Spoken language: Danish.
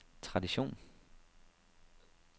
tradition